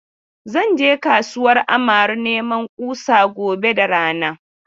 Zan je kasuwar Amaru neman kusa gobe da rana.